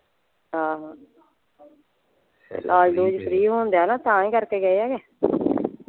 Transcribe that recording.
ਆਹੋ ਇਲਾਜ ਲੁਜ ਫ਼੍ਰੀ ਹੋਣ ਡਯਾ ਨਾ ਤਾਂ ਹੀ ਕਰਕੇ ਗਏ ਆ ਐ।